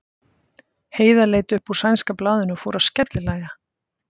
Heiða leit upp úr sænska blaðinu og fór að skellihlæja.